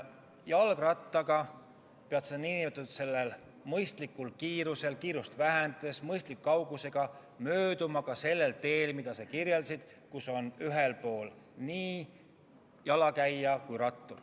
Jalgrattaga pead sa nn mõistlikul kiirusel ja mõistlikus kauguses mööduma ka sellel teel, mida sa kirjeldasid, kus on ühel pool jalakäija ja rattur.